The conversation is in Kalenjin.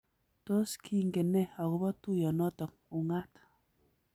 Tos kingen ne akobo tuiyonoto ung'aat?